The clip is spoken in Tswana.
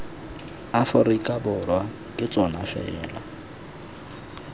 aforika borwa ke tsona fela